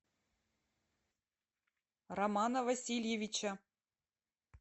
романа васильевича